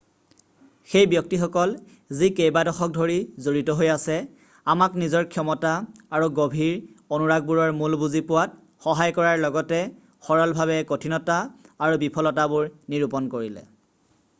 সেই ব্যক্তিসকল যি কেইবা দশক ধৰি জড়িত হৈ আছে আমাক নিজৰ ক্ষমতা আৰু গভীৰ অনুৰাগবোৰৰ মূল বুজি পোৱাত সহায় কৰাৰ লগতে সৰলভাৱে কঠিনতা আৰু বিফলতাবোৰ নিৰূপন কৰিলে